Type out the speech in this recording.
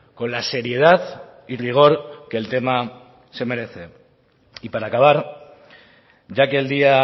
con la seriedad y rigor que el tema se merece y para acabar ya que el día